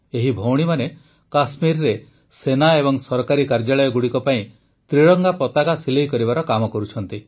ଏହି ଭଉଣୀମାନେ କଶ୍ମୀରରେ ସେନା ଏବଂ ସରକାରୀ କାର୍ଯ୍ୟାଳୟଗୁଡ଼ିକ ପାଇଁ ତ୍ରିରଂଗା ପତାକା ସିଲେଇ କରିବାର କାମ କରୁଛନ୍ତି